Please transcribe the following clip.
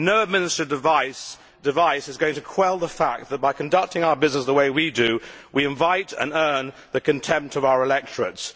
No administrative device is going to quell the fact that by conducting our business the way we do, we invite and earn the contempt of our electorate.